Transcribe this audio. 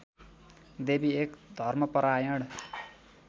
देवी एक धर्मपरायण